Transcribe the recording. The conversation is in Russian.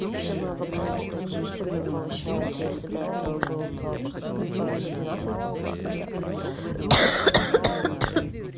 вообще мы обогнали статистику и получается если до этого было то две ну двенадцать по пла то да